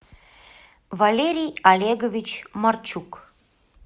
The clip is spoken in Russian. валерий олегович марчук